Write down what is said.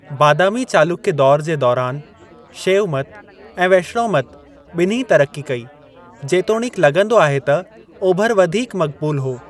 बादामी चालुक्य दौरु जे दौरान शैवमत ऐं वैष्णवमत बि॒न्ही ई तरक़्क़ी कई, जेतोणीकि लगं॒दो आहे त ओभिरि वधीक मक़बूलु हो।